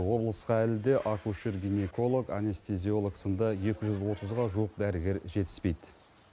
облысқа әлі де акушер гинеколог анестизиолог сынды екі жүз отызға жуық дәрігер жетіспейді